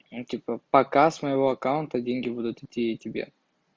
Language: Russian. типа показ моего аккаунта деньги будут идти тебе